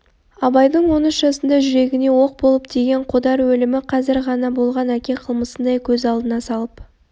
абайдың он үш жасында жүрегіне оқ болып тиген қодар өлімі қазір ғана болған әке қылмысындай көз алдына салып